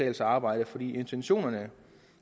at arbejde for intentionerne